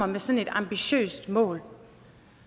med sådan et ambitiøst mål